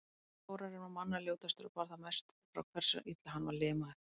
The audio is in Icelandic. Þórarinn var manna ljótastur og bar það mest frá hversu illa hann var limaður.